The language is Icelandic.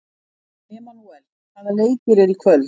Emanúel, hvaða leikir eru í kvöld?